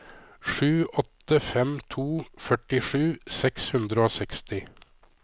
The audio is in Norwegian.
sju åtte fem to førtisju seks hundre og seksti